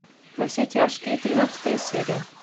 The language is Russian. во все тяжкие тринадцатая серия